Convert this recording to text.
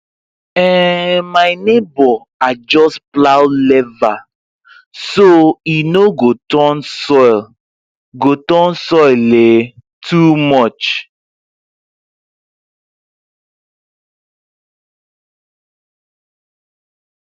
um my neighbor adjust plow lever so e no go turn soil go turn soil um too much